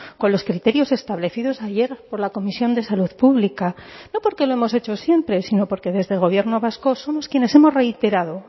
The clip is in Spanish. con los criterios establecidos ayer por la comisión de salud pública no porque lo hemos hecho siempre sino porque desde el gobierno vasco somos quienes hemos reiterado